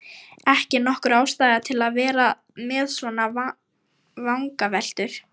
Ekki nokkur ástæða til að vera með svona vangaveltur.